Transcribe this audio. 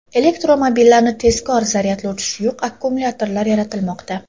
Elektromobillarni tezkor zaryadlovchi suyuq akkumulyatorlar yaratilmoqda.